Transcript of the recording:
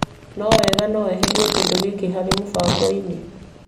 No wega gugũ no weherie kĩndũ gĩkĩ harĩ mũbango.